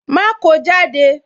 Ma ko jáde